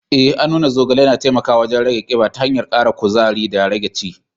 Eh, an nuna zogale na taimakawa wajen rage kiba ta hanyar kara kuzari da rage ci.